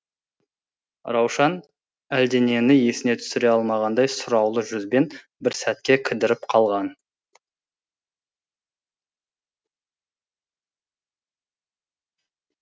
раушан әлденені есіне түсіре алмағандай сұраулы жүзбен бір сәтке кідіріп қалған